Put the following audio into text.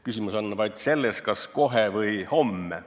Küsimus on vaid selles, kas kohe või homme.